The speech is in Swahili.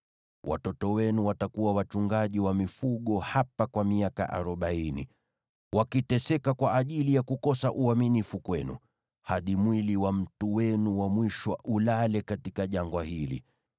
Watoto wenu watakuwa wachungaji wa mifugo hapa kwa miaka arobaini, wakiteseka kwa ajili ya kukosa uaminifu kwenu, hadi mwili wa mtu wenu wa mwisho ulale katika jangwa hili.